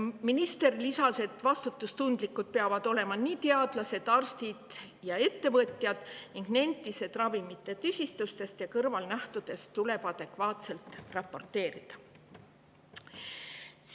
Minister lisas, et vastutustundlikud peavad olema nii teadlased, arstid kui ka ettevõtjad, ning nentis, et ravimitest tekkinud tüsistustest ja kõrvalnähtudest tuleb adekvaatselt raporteerida.